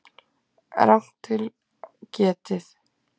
Rangt til getið